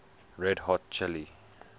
red hot chili